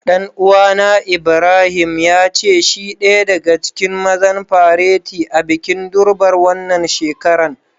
Dan uwa na Ibrahim, ya ce shi daya daga cikin mazan fareti a'bikin Durbar wanan shekaran.